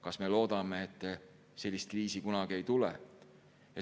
Kas me loodame, et sellist kriisi kunagi ei tule?